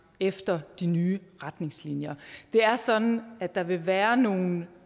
efter de nye retningslinjer det er sådan at der vil være nogle